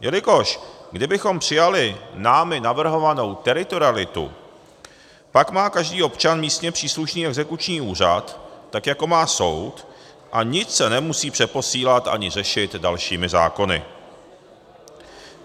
Jelikož kdybychom přijali námi navrhovanou teritorialitu, pak má každý občan místně příslušný exekuční úřad, tak jako má soud, a nic se nemusí přeposílat ani řešit dalšími zákony.